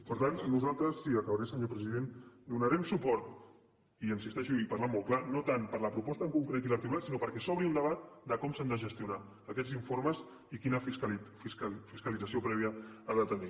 per tant nosaltres sí acabaré senyor president donarem suport hi insisteixo i parlant molt clar no tant per la proposta en concret i l’articulat sinó perquè s’obri un debat de com s’han de gestionar aquests informes i quina fiscalització prèvia han de tenir